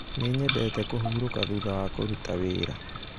Nĩ nyendete kũhurũka thutha wa kũrũta wĩra